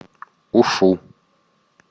ушу